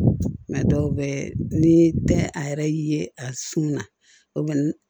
dɔw bɛ ni tɛ a yɛrɛ ye a sun na o man